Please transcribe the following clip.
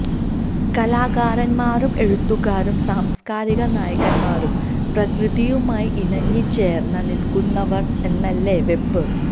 കലാകാരന്മാരും എഴുത്തുകാരും സാംസ്കാരിക നായകന്മാരും പ്രകൃതിയുമായി ഇണങ്ങിച്ചേര്ന്ന് നില്ക്കുന്നവര് എന്നല്ലേ വെപ്പ്